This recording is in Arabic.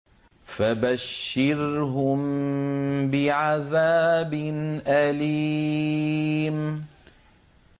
فَبَشِّرْهُم بِعَذَابٍ أَلِيمٍ